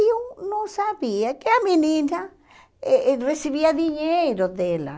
E eu não sabia que a menina eh recebia dinheiro dela.